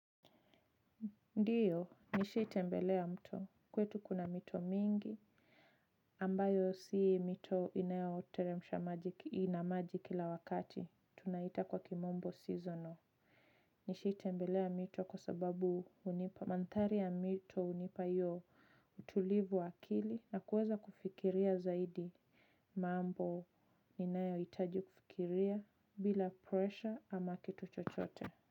Ndiyo nishaitembelea mto. Kwetu kuna mito mingi ambayo si mito inayoteremsha maji, ina maji kila wakati tunaita kwa kimombo seasonal. Nishaitembelea mito kwa sababu hunipa mandhari ya mito hunipa hiyo utulivu wa akili na kuweza kufikiria zaidi. Mambo inayohitaji kufikiria bila pressure ama kitu chochote.